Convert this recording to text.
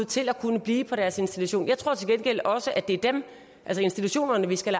til at kunne blive på deres institution jeg tror til gengæld også at det er dem altså institutionerne vi skal